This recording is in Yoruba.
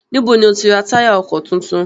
Níbo ni o ti ra táyà ọkọ̀ tuntun?